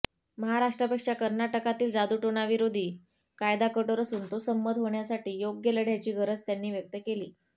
महाराष्ट्रापेक्षा कर्नाटकातील जादूटोणाविरोधी कायदा कठोर असून तो संमत होण्यासाठी योग्य लढ्याची गरज त्यांनी व्यक्त केली